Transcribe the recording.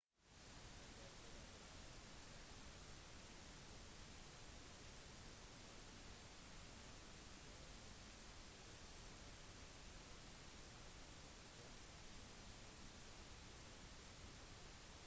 rundt oktober drar nesten 1,5 millioner vegetarianere årlig mot de sørlige slettene over mara-elva og rømmer fra de nordlige bakker for regnet